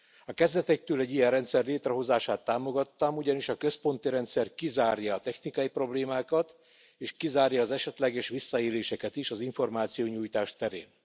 A kezdetektől egy ilyen rendszer létrehozását támogattam, ugyanis a központi rendszer kizárja a technikai problémákat, és kizárja az esetleges visszaéléseket is az információnyújtás terén.